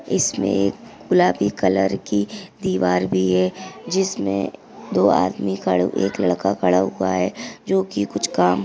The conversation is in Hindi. इसमे एक गुलाबी कलर की दीवार भी है जिसमे दो आदमी खड़े एक लड़का खड़ा हुआ है जो की कुछ काम --